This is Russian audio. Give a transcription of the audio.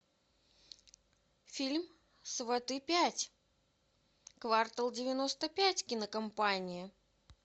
фильм сваты пять квартал девяносто пять кинокомпания